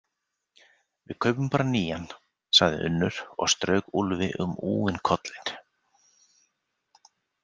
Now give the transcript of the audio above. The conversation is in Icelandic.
Við kaupum bara nýjan, sagði Unnur og strauk Úlfi um úfinn kollinn.